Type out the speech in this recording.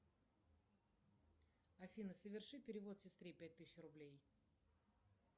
афина соверши перевод сестре пять тысяч рублей